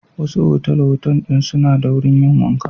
Wasu otal-otal ɗin suna da wurin yin wanka.